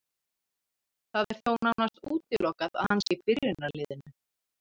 Það er þó nánast útilokað að hann sé í byrjunarliðinu.